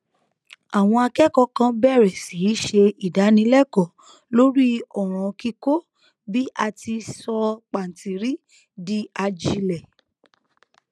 àwọn akékòó kan bèrè sí í ṣe ìdánilékòó lórí òràn kíkó bí a ti í sọ pàǹtírí di ajílẹ